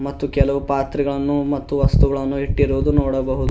ಮತ್ತು ಕೆಲವು ಪಾತ್ರಗಳನ್ನು ಮತ್ತು ಕೆಲವು ವಸ್ತುಗಳನ್ನು ಇಟ್ಟಿರುವುದನ್ನು ನೋಡಬಹುದು.